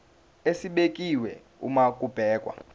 esibekiwe uma kubhekwa